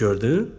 Gördün?